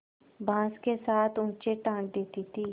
बाँस के साथ ऊँचे टाँग देती थी